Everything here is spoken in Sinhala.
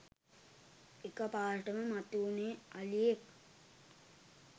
එකපාරටම මතු වුණෙ අලියෙක්